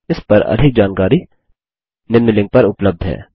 इस पर अधिक जानकारी निम्न लिंक पर उपलब्ध है